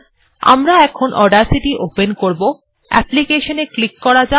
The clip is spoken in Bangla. আমরা এখন অডাসিটি ওপেন করব অ্যাপলিকেশন এ ক্লিক করা যাক